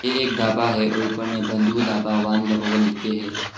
एक ढाबा है और ऊपर में बंधू ढाबा वान लहोल लिख के है।